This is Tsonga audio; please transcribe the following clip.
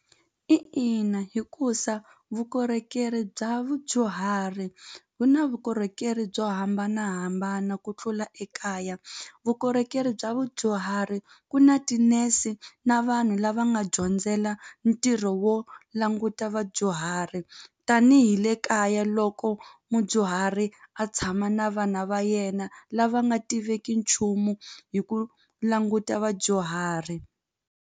ina hikusa vukorhokeri bya vudyuhari ku na vukorhokeri byo hambanahambana ku tlula ekaya vukorhokeri bya vudyuhari ku na ti-nurse na vanhu lava nga dyondzela ntirho wo languta vadyuhari tanihi le kaya loko mudyuhari a tshama na vana va yena lava nga tiveki nchumu hi ku languta vadyuhari.